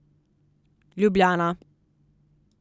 Ljubljana.